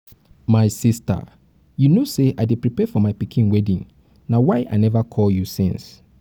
my sister you no say i dey prepare for my pikin wedding na why i never call you since